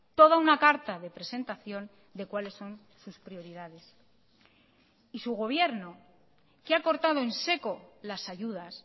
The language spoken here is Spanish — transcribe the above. toda una carta de presentación de cuáles son sus prioridades y su gobierno que ha cortado en seco las ayudas